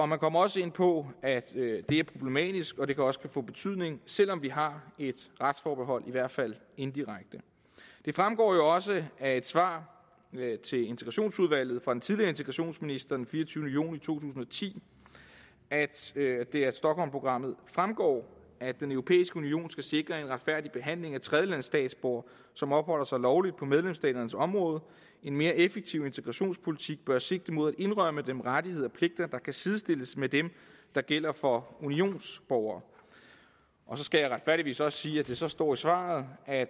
man kommer også ind på at det er problematisk og at det også kan få betydning selv om vi har et retsforbehold i hvert fald indirekte det fremgår jo også af et svar til integrationsudvalget fra den tidligere integrationsminister den fireogtyvende juni to tusind og ti at det af stockholmprogrammet fremgår at den europæiske union skal sikre en retfærdig behandling af tredjelandsstatsborgere som opholder sig lovligt på medlemsstaternes område en mere effektiv integrationspolitik bør sigte mod at indrømme dem rettigheder og kan sidestilles med dem der gælder for unionsborgere så skal jeg retfærdigvis også sige at det så står i svaret at